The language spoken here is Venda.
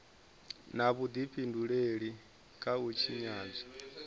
na vhudifhinduleli kha u tshinyadzwa